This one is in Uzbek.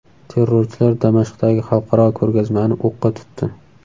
Terrorchilar Damashqdagi xalqaro ko‘rgazmani o‘qqa tutdi.